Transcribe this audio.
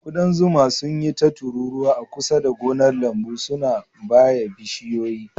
Ƙudan zuma sun yi ta tururuwa a kusa da gonar lambu, suna baye bishiyoyi.